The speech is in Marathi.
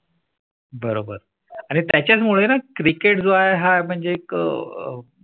बरोबर आणि त्याच्या मुळे ना Cricket जो आहे म्हणजे एक अह